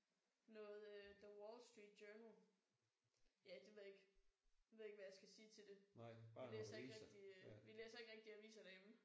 Noget øh the Wall Street Journal. Ja det ved jeg ikke ved ikke hvad jeg skal sige til det. Vi læser ikke rigtig øh vi læser ikke rigtig aviser derhjemme